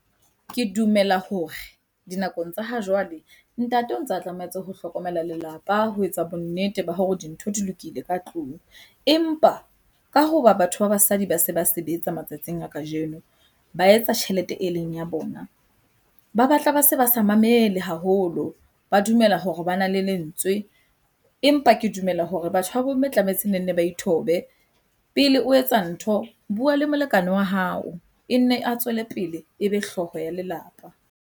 Ke dumela hore dinakong tsa hajwale ntate o ntsa tlametse ho hlokomela lelapa ho etsa bonnete ba hore dintho di lokile ka tlung. Empa ka hoba batho ba basadi ba se ba sebetsa matsatsing a kajeno, ba etsa tjhelete e leng ya bona. Ba batla ba se ba sa mamele haholo, ba dumela hore bana le lentswe empa ke dumela hore batho ba bo mme tlametse ne nne ba ithobe. Pele o etsa ntho, bua le molekane wa hao e nne a tswele pele ebe hlooho ya lelapa.